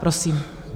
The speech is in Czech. Prosím.